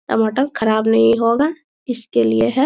टमाटर खराब नहीं होगा इसके लिए है।